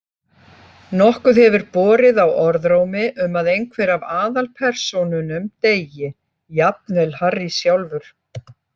Nokkuð hefur borið á orðrómi um að einhver af aðalpersónunum deyi, jafnvel Harry sjálfur.